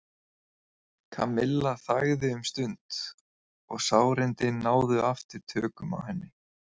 Kamilla þagði um stund og sárindin náðu aftur tökum á henni.